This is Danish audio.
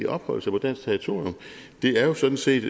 opholde sig på dansk territorium det er jo sådan set